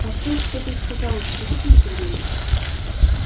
а то что ты сказал это сколько времени